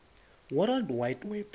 world wide web